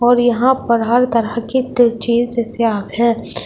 और यहां पर हर तरह की है।